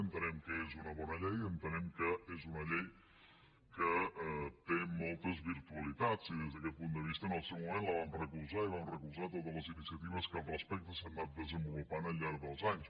en·tenem que és una bona llei entenem que és una llei que té moltes virtualitats i des d’aquest punt de vista en el seu moment la vam recolzar i vam recolzar to·tes les iniciatives que al respecte s’han anat desenvo·lupant al llarg dels anys